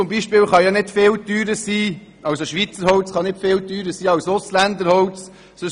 Schweizer Holz kann nicht wesentlich teurer sein als ausländisches Holz.